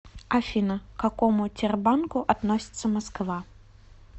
афина к какому тербанку относится москва